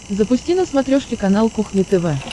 запусти на смотрешке канал кухня тв